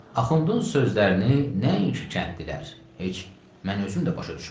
Axundun sözlərini nəinki kəndlilər, heç mən özüm də başa düşmədim.